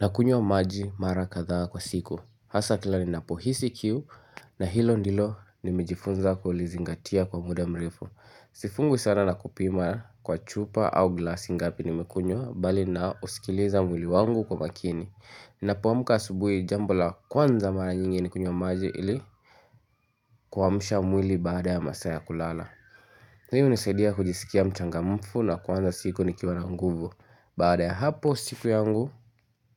Na kunywa maji mara kadha kwa siku. Hasa kila ninapo hisi kiu na hilo ndilo nimejifunza kulizingatia kwa muda mrefu. Sifungwi sana na kupima kwa chupa au glasi ngapi nimekunywa bali na usikiliza mwili wangu kwa makini. Ninapoamka asubuhi jambo la kwanza mara nyingi ni kunywa maji ili kuamsha mwili baada ya masaa ya kulala. Ndiohunisadia kujisikia mchangamfu na kuanza siku nikiwana nguvu. Baada ya hapo siku yangu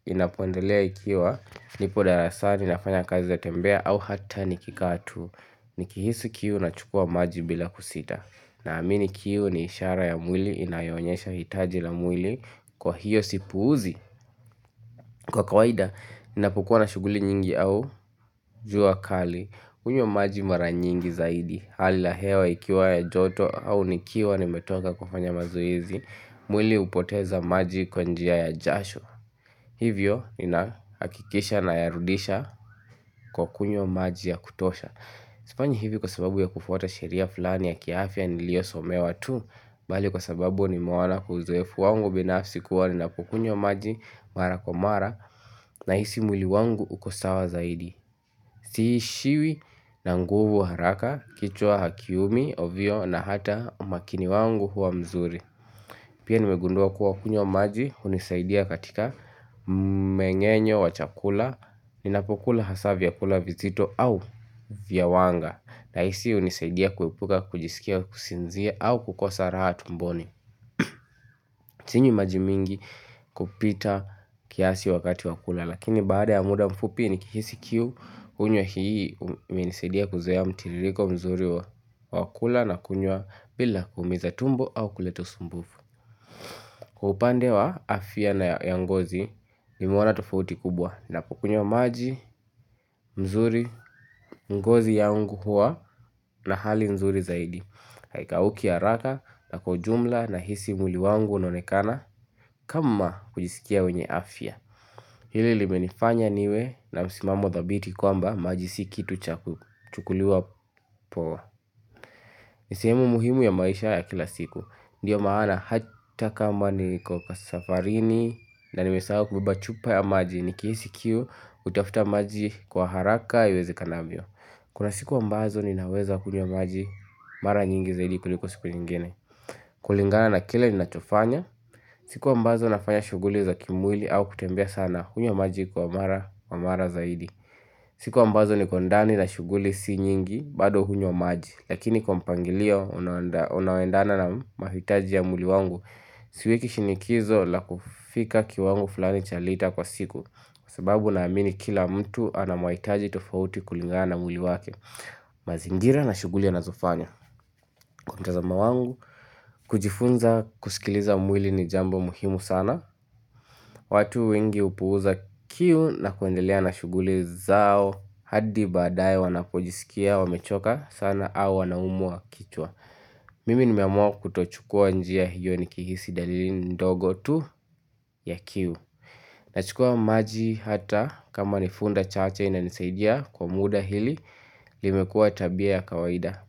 inapoendelea ikiwa nipo darasani nafanya kazi ya tembea au hata nikikaa tu Nikihisu kiu na chukua maji bila kusita na amini kiu ni ishara ya mwili inayoonyesha hitaji la mwili kwa hiyo sipuuzi Kwa kawaida ninapokuwa na shughuli nyingi au jua kali hunywa maji mara nyingi zaidi Hali ya hewa ikiwa ya joto au nikiwa nimetoka kufanya mazoezi. Mwili hupoteza maji kwa njia ya jasho Hivyo ninahakikisha na yarudisha kwa kunywa maji ya kutosha Sifanyi hivi kwa sababu ya kufuata sheria fulani ya kiafya niliyo somewa tu Bali kwa sababu nimeona uzuefu wangu binafsi kuwa ninapo kunywa maji mara kwa mara na hisi mwili wangu ukosawa zaidi Siishiwi na nguvu haraka kichwa hakiumi ovyo na hata umakini wangu huwa mzuri Pia nimegundua kuwa kunywa maji hunisaidia katika mmenyenyo wa chakula, Ninapokula hasa vyakula vizito au vya wanga. Nahisi hunisaidia kuwepuka, kujisikia, kusinzia au kukosa raha tumboni. Sinywi majimingi kupita kiasi wakati wakula, lakini baada ya muda mfupi ni kihisi kiu, kunywa maji unisaidia kuzea mtirigo mzuri wa wakula na kunywa bila kuumiza tumbo au kuleto usumbufu. Kwa upande wa afya na ya ngozi nimeona tofauti kubwa na kukunywa maji, mzuri, mgozi yangu hua na hali mzuri zaidi. Haikauki haraka na kwa ujumla na hisi mwili wangu unaonekana kama kujisikia wenye afya. Hili limenifanya niwe na msimamo thabiti kwamba maji si kitu cha kuliwa poa. Ni sehemu muhimu ya maisha ya kila siku Ndiyo maana hata kama niko kwa safarini na nanimesahau kubeba chupa ya maji Nikihisi kiu hutafuta maji kwa haraka iweze kanavyo Kuna siku ambazo ni naweza kunywa maji mara nyingi zaidi kuliko siku nyingine kulingana na kile ni nachofanya siku ambazo nafanya shughuli za kimwili au kutembea sana hunywa maji kwa mara zaidi siku ambazo nikondani na shughuli si nyingi bado hunywa maji Lakini kwa mpangilio unaendana na mahitaji ya mwili wangu Siweki shinikizo la kufika kiwango fulani cha lita kwa siku Kwa sababu na amini kila mtu anamahitaji tofauti kulingana mwili wake mazingira na shughuli anazofanya Kuntazama wangu kujifunza kusikiliza umwili ni jambo muhimu sana watu wengi hupuuza kiu na kuendelea na shughuli zao hadi baadaye wanapojisikia wamechoka sana au wanaumwua kichwa Mimi nimeamua kutochukua njia hiyo nikihisi dalili ndogo tu ya kiu Nachukua maji hata kama nifunda chache inanisaidia kwa muda hili limekua tabia ya kawaida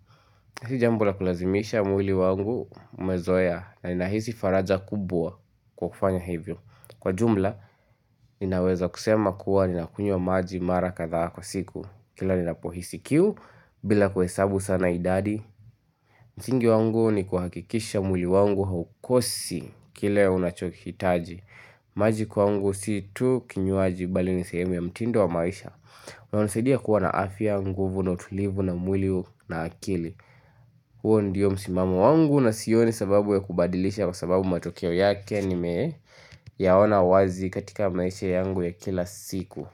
Sijambola kulazimisha mwili wangu umezoea na inahisi faraja kubwa kwa kufanya hivyo Kwa jumla ninaweza kusema kuwa nina kunywa maji mara kadha kwa siku Kila nina pohisi kiu bila kuesabu sana idadi msingi wangu ni kuhakikisha mwili wangu haukosi kile unachokitaji maji kwangu situ kinywaji bali nisehemu ya mtindo wa maisha Unanisidia kuwa na afya nguvu na utulivu wa mwili na akili huo ndio msimamo wangu na sioni sababu ya kubadilisha kwa sababu matokeo yake ni me yaona wazi katika maisha yangu ya kila siku.